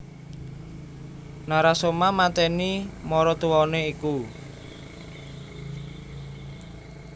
Narasoma matèni maratuwané iku